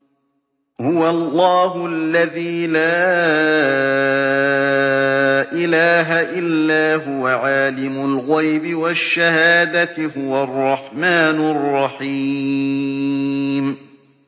هُوَ اللَّهُ الَّذِي لَا إِلَٰهَ إِلَّا هُوَ ۖ عَالِمُ الْغَيْبِ وَالشَّهَادَةِ ۖ هُوَ الرَّحْمَٰنُ الرَّحِيمُ